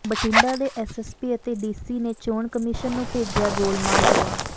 ਬਠਿੰਡਾ ਦੇ ਐਸਐਸਪੀ ਅਤੇ ਡੀਸੀ ਨੇ ਚੋਣ ਕਮਿਸ਼ਨ ਨੂੰ ਭੇਜਿਆ ਗੋਲਮਾਲ ਜਵਾਬ